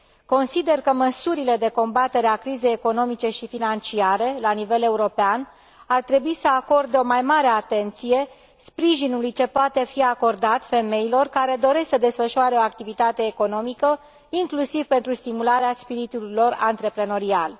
Consider că măsurile de combatere a crizei economice și financiare la nivel european ar trebui să acorde o mai mare atenție sprijinului ce poate fi acordat femeilor care doresc să desfășoare o activitate economică, inclusiv pentru stimularea spiritului lor antreprenorial.